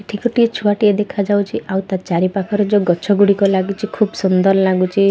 ଏଠି ଗୋଟେ ଛୁଆ ଟିଏ ଦେଖାଯାଉଚି ଆଉ ତା ଚାରିପାଖରେ ଜୋଉ ଗଛ ଗୁଡ଼ିକ ଲାଗିଚି ଖିବ୍ ସୁନ୍ଦର ଲାଗୁଚି।